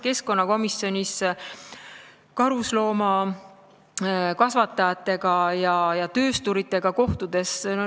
Keskkonnakomisjonis oleme kohtunud karusloomakasvatajatega ja töösturitega.